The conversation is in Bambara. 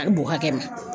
A bɛ bo hakɛ min